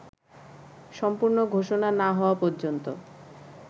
সম্পূর্ণ ঘোষণা না হওয়া পর্যন্ত